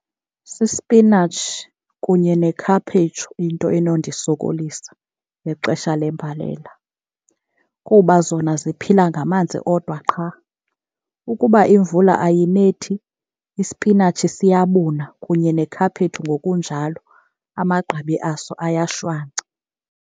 Sisipinatshi kunye nekhaphetshu into enondisokolisa ngexesha lembalela, kuba zona ziphila ngamanzi odwa qha. Ukuba imvula ayinethi isipinatshi siyabuna kunye nekhaphetshu ngokunjalo, amagqabi aso ayashwaca.